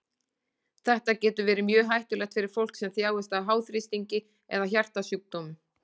Þetta getur verið mjög hættulegt fyrir fólk sem þjáist af háþrýstingi eða hjartasjúkdómum.